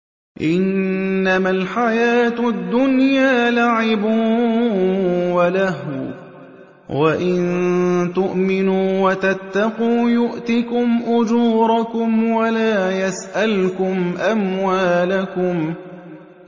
إِنَّمَا الْحَيَاةُ الدُّنْيَا لَعِبٌ وَلَهْوٌ ۚ وَإِن تُؤْمِنُوا وَتَتَّقُوا يُؤْتِكُمْ أُجُورَكُمْ وَلَا يَسْأَلْكُمْ أَمْوَالَكُمْ